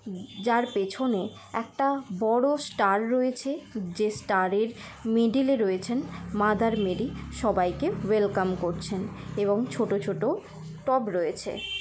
উব যার পেছনে একটা বড়ো ষ্টার রয়েছে যে স্টার -এর মিডিল -এ রয়েছেন মাদার মেরি সবাইকে ওয়েলকাম করছেন। এবং ছোট ছোট টব রয়েছে।